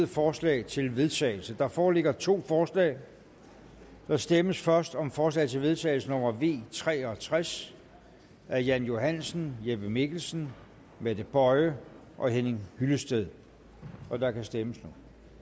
forslag til vedtagelse der foreligger to forslag der stemmes først om forslag til vedtagelse nummer v tre og tres af jan johansen jeppe mikkelsen mette boye og henning hyllested og der kan stemmes